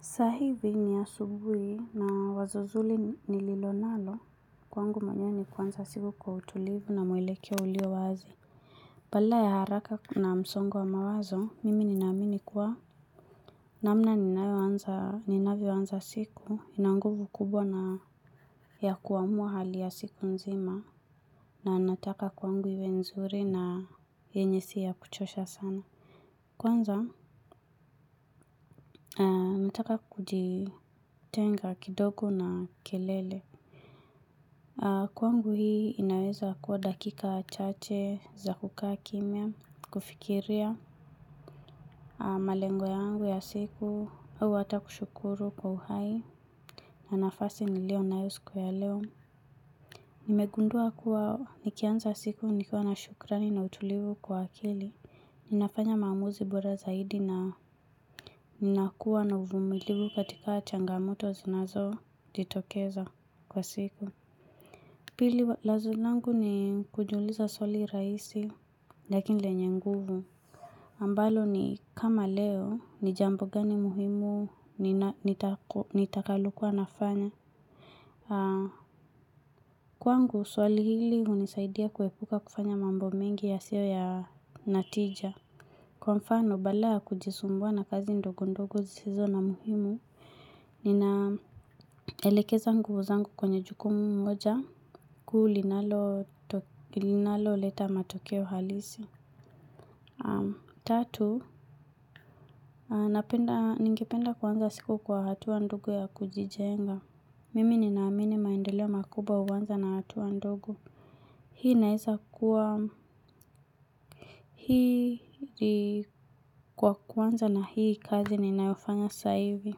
Saa hivi, ni asubuhi na wazozuli ni lilo nalo kwangu mwenyewe ni kuanza siku kwa utulivu na mwelekeo ulio wazi. Bala ya haraka na msongo wa mawazo, mimi ninamini kua namna ninavyoanza siku inanguvu kubwa na ya kuamua hali ya siku nzima na nataka kwangu iwe nzuri na, yenye siya kuchosha sana. Kwanza, ntaka kujitenga kidogo na kelele. Kwangu, hii inaweza kuwa dakika chache za kukaa kimya, kufikiria malengo yangu ya siku, au ata kushukuru kwa uhai, na nafasi ni leo nayo siku ya leo. Nimegundua kuwa nikianza siku nikiwa na shukrani na utulivu kwa akili, ninafanya maamuzi bora zaidi na nnakua na uvumiliwu katika changamoto zinazo jitokeza, kwa siku. Pili lazu langu ni kujiuliza swali raisi, lakini lenye nguvu. Ambalo ni kama leo, ni jambo gani muhimu nitakalokuanafanya? Kwangu, swali hili hunisaidia kuwepuka kufanya mambo mengi yasiyo ya natija. Kwa mfano, badala ya kujisumbua na kazi ndogo ndogo zisizo na muhimu, ninaelekeza nguvu zangu kwenye juko moja, kuu, linalo leta matokeo halisi. Tatu, ningependa kuanza siku kwa hatua ndogo ya kujijenga. Mimi ninaamini maendeleo makubwa uanza na hatua ndogo. Hii inaeza kuwa hili kwa kwanza na hii kazi ninayofanya saivi.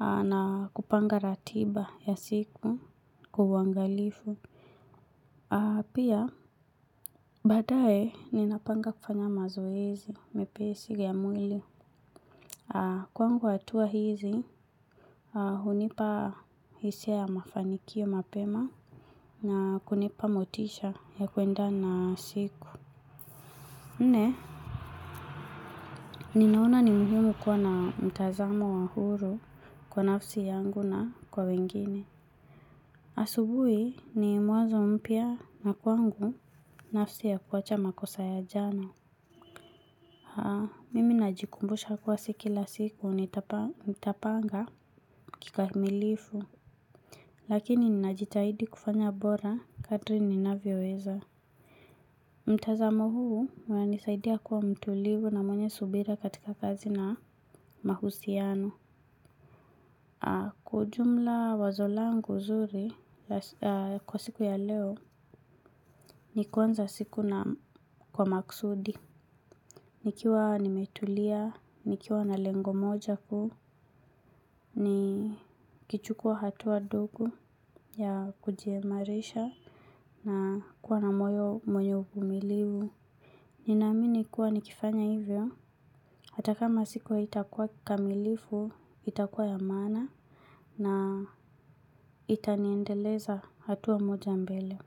Na kupanga ratiba ya siku, kwa uangalifu. Pia, baadae, ninapanga kufanya mazoezi, mepesi ya mwili. Kwangu hatua hizi hunipa hisia ya mafanikio mapema na kunipa motisha ya kuenda na siku. Na, ninaona ni muhimu kuwa na mtazamo wa huru kwa nafsi yangu na kwa wengine. Asubui ni mwanzo mpya na kwangu, nafsi ya kuacha makosa ya jana. Haa, mimi najikumbusha kuwa siki la siku nitapanga kikamilifu. Lakini ninajitahidi kufanya bora katri ninavyoweza. Mtazamo huu, unanisaidia kuwa mtulivu na mwenye subira katika kazi na, mahusiano. Kwa ujumla wazo langu zuri, kwa siku ya leo ni kuanza siku na kwa maksudi. Nikiwa nimetulia, nikiwa na lengo moja kuu, ni kichukua hatua dogu ya kujiemarisha na kuwa na moyo mwenye ukumilivu. Ninamini kuwa nikifanya hivyo, hata kama siku haitakua kamilifu, itakuwa ya maana, na itaniendeleza hatua moja mbele.